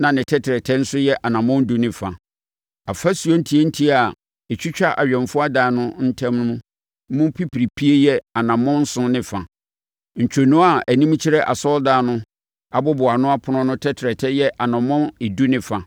na ne tɛtrɛtɛ mu nso yɛ anammɔn edu ne fa. Afasuo ntiantia a ɛtwitwa awɛmfoɔ adan no ntam mu pipiripie yɛ anammɔn nson ne fa. Ntwonoo a anim kyerɛ asɔredan no aboboano ɛpono no tɛtrɛtɛ yɛ anammɔn edu ne fa.